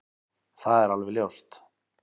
Það er alveg ljóst